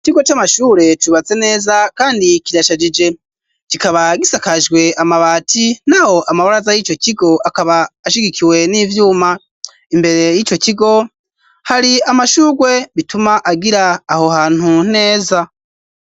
Ikigo c'amashure cubatse neza kandi kirashajije kikaba gisakajwe amabati naho amabaraza y'ico kigo akaba ashigikiwe n'ivyuma imbere y'ico kigo hari amashurwe bituma agira aho hantu neza.